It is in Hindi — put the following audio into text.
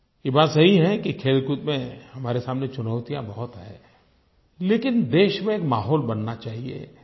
ये बात सही है कि खेलकूद में हमारे सामने चुनौतियाँ बहुत हैं लेकिन देश में एक माहौल बनना चाहिए